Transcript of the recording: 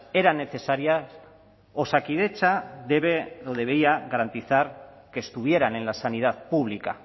era necesaria osakidetza debería garantizar que estuviera en la sanidad pública